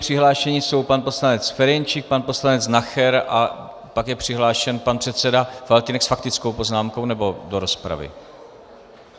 Přihlášeni jsou pan poslanec Ferjenčík, pan poslanec Nacher a pak je přihlášen pan předseda Faltýnek s faktickou poznámkou - nebo do rozpravy?